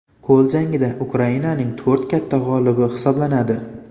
Qo‘l jangida Ukrainaning to‘rt katta g‘olibi hisoblanadi.